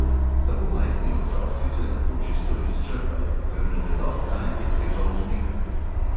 Tako majhni otroci se lahko čisto izčrpajo, ker ne vedo, kdaj je treba odnehati.